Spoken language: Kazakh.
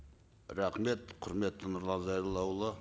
рахмет құрметті нұрлан зайроллаұлы